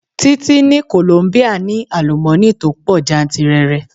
Títí ní Kolombia ní àlùmọ́ni tó pọ̀ jantìrẹrẹ.